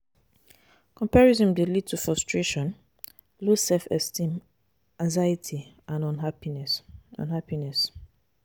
comparison dey lead to frustration, low self-esteem, anxiety and unhappiness. unhappiness.